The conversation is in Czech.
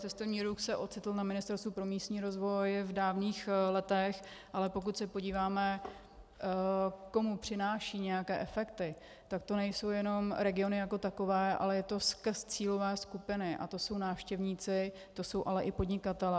Cestovní ruch se ocitl na Ministerstvu pro místní rozvoj v dávných letech, ale pokud se podíváme, komu přináší nějaké efekty, tak to nejsou jenom regiony jako takové, ale je to skrz cílové skupiny, a to jsou návštěvníci, to jsou ale i podnikatelé.